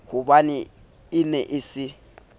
hobane e ne e se